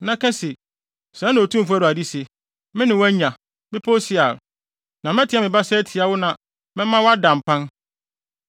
na ka se, ‘Sɛɛ na Otumfo Awurade se: Me ne wo anya, Bepɔw Seir, na mɛteɛ me basa atia wo na mɛma wo ada mpan.